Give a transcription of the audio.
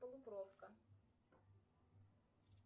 полукровка